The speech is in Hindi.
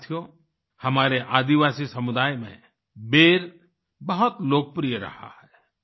साथियो हमारे आदिवासी समुदाय में बेर बहुत लोकप्रिय रहा है